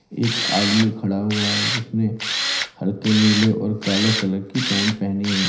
एक आदमी खड़ा हुआ है जिसने हल्के नीले और काले कलर की पैंट पहनी हुई--